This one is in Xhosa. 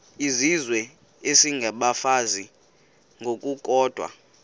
izizwe isengabafazi ngokukodwa